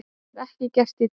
Það er ekki gert í dag!